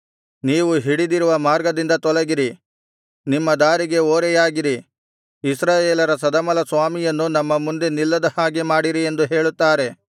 ನೀವು ಹಿಡಿದಿರುವ ಮಾರ್ಗದಿಂದ ತೊಲಗಿರಿ ನಿಮ್ಮ ದಾರಿಗೆ ಓರೆಯಾಗಿರಿ ಇಸ್ರಾಯೇಲರ ಸದಮಲಸ್ವಾಮಿಯನ್ನು ನಮ್ಮ ಮುಂದೆ ನಿಲ್ಲದ ಹಾಗೆ ಮಾಡಿರಿ ಎಂದು ಹೇಳುತ್ತಾರೆ